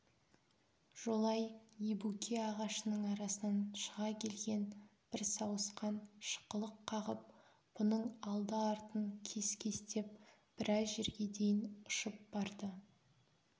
жолай ебуке ағашының арасынан шыға келген бір сауысқан шықылық қағып бұның алды-артын кес-кестеп біраз жерге дейін ұшып барды